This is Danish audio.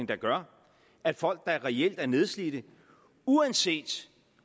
der gør at folk der reelt er nedslidte uanset